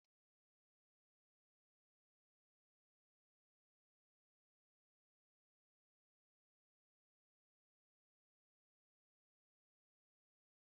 N'oge a na-ehi ụra, mụ na ndị enyi m na-atụgharị n'otu n'otu na-akọ akụkọ ogologo na-atọ ọchị bụ ndị ghọrọ ihe ọchị n'etiti anyị.